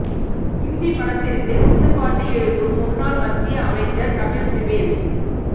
இந்தி படத்திற்கு குத்துப்பாட்டு எழுதும் முன்னாள் மத்திய அமைச்சர் கபில் சிபல்